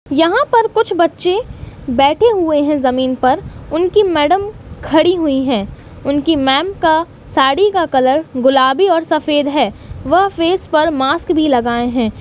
यहा पर कुछ बच्चे बेठे हुवे है। जमीन पर उनकी मैडम खडी हुई है। उनकी मेम का साडी का कलर गुलाबी और सफ़ेद है वह फेस पेर मास्क भी लगाए है।